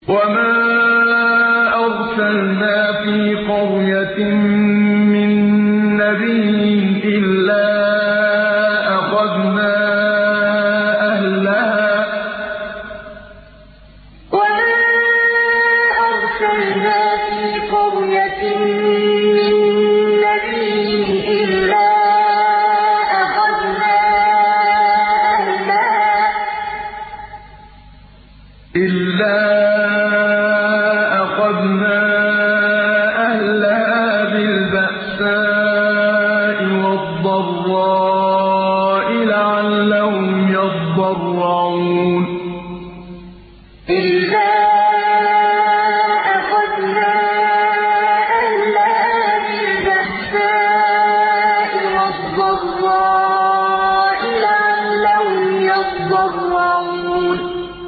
وَمَا أَرْسَلْنَا فِي قَرْيَةٍ مِّن نَّبِيٍّ إِلَّا أَخَذْنَا أَهْلَهَا بِالْبَأْسَاءِ وَالضَّرَّاءِ لَعَلَّهُمْ يَضَّرَّعُونَ وَمَا أَرْسَلْنَا فِي قَرْيَةٍ مِّن نَّبِيٍّ إِلَّا أَخَذْنَا أَهْلَهَا بِالْبَأْسَاءِ وَالضَّرَّاءِ لَعَلَّهُمْ يَضَّرَّعُونَ